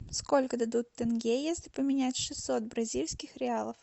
сколько дадут тенге если поменять шестьсот бразильских реалов